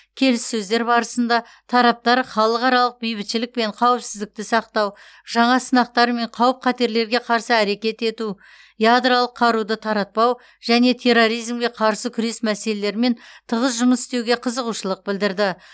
келіссөздер барысында тараптар халықаралық бейбітшілік пен қауіпсіздікті сақтау жаңа сынақтар мен қауіп қатерлерге қарсы әрекет ету ядролық қаруды таратпау және терроризмге қарсы күрес мәселелерімен тығыз жұмыс істеуге қызығушылық білдірді